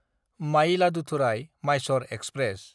मायिलादुथुराय–माइसर express